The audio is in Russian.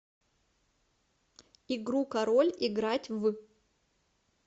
игру король играть в